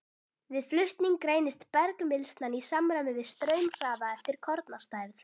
Við flutning greinist bergmylsnan í samræmi við straumhraða eftir kornastærð.